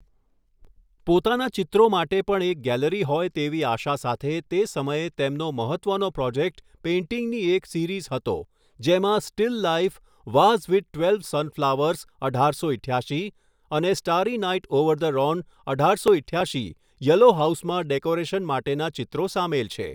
પોતાના ચિત્રો માટે પણ એક ગેલેરી હોય તેવી આશા સાથે તે સમયે તેમનો મહત્ત્વનો પ્રોજેક્ટ પેઇન્ટિંગની એક સિરિઝ હતો જેમાં still life vase with twelve sunflowers અઢારસો ઇઠ્યાશી અને starry night over the Rhone અઢારસો ઇઠ્યાસશી યલો હાઉસમાં ડેકોરેશન માટેના ચિત્રો સામેલ છે.